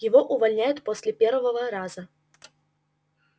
его увольняют после первого раза